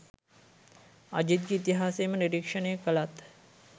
අජිත්ගෙ ඉතිහාසයම නිරීක්ෂණය කළත්